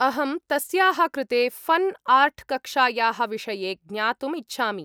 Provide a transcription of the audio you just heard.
अहं तस्याः कृते फ़न् आर्ट्कक्ष्यायाः विषये ज्ञातुम् इच्छामि।